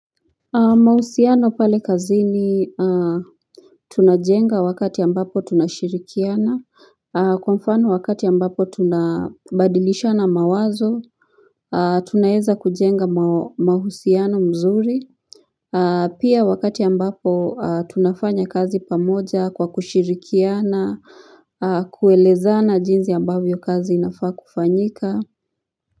Mahusiano pale kazini tunajenga wakati ambapo tunashirikiana Kwa mfano wakati ambapo tunabadilishana mawazo Tunaeza kujenga mahusiano mzuri Pia wakati ambapo tunafanya kazi pamoja kwa kushirikiana Kuelezana jinzi ambavyo kazi inafaa kufanyika.